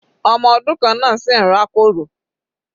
Ọmọ ọdún kan náà sì ń rá kòrò.